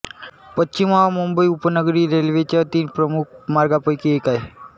पश्चिम हा मुंबई उपनगरी रेल्वेच्या तीन प्रमुख मार्गांपैकी एक आहे